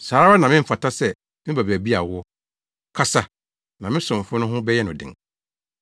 Saa ara na memfata sɛ meba baabi a wowɔ. Kasa, na me somfo no ho bɛyɛ no den.